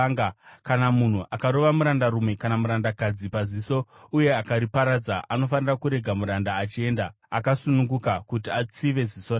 “Kana munhu akarova murandarume kana murandakadzi paziso uye akariparadza, anofanira kurega muranda achienda akasununguka kuti atsive ziso rake.